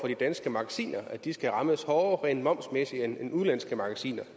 de danske magasiner at de skal rammes hårdere rent momsmæssigt end udenlandske magasiner